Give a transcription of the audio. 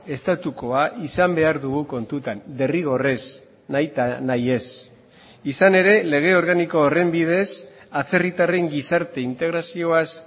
estatukoa izan behar dugu kontutan derrigorrez nahita nahiez izan ere lege organiko horren bidez atzerritarren gizarte integrazioaz